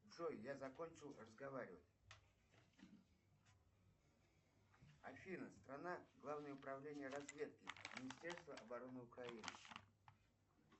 джой я закончил разговаривать афина страна главное управление разведки министерства обороны украины